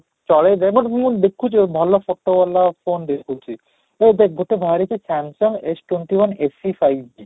ଚଲେଇଦେ but ମୁଁ ଦେଖୁଛି ଆଉ ଭଲ photo ଵାଲା phone ଦେଖୁଛି ତ ଦେଖ ଗୋଟେ ହଁ ରେ କି Samsung S twenty one SC five G